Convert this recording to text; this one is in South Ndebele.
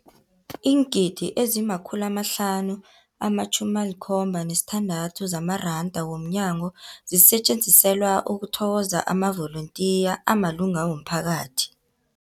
Iingidi ezima-576 zamaranda ngomnyaka zisetjenziselwa ukuthokoza amavolontiya amalunga womphakathi.